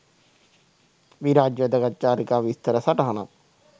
විරාජ් වැදගත් චාරිකා විස්තර සටහනක්.